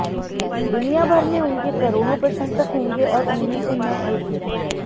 दुनियाभर में उनके करोड़ों प्रशंसक होंगे और उनमें से मैं एक हूं